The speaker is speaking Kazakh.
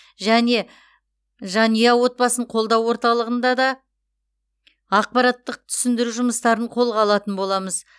және жанұя отбасын қолдау ортылығында да ақпараттық түсіндіру жұмыстарын қолға алатын боламыз